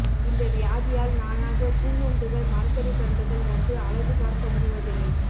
இந்த வியாதியால் நானாக பூங்கன்றுகள் மரக்கறி கன்றுகள் நட்டு அழகு பார்க்க முடிவதில்லை